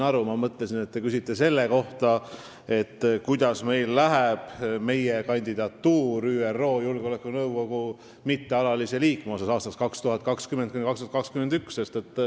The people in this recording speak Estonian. Ma mõtlesin, et te küsite selle kohta, kuidas meil läheb aastateks 2020–2021 ÜRO Julgeolekunõukogu mittealaliseks liikmeks kandideerimisel.